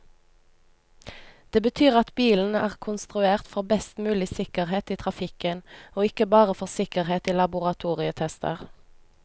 Det betyr at bilen er konstruert for best mulig sikkerhet i trafikken, og ikke bare for sikkerhet i laboratorietester.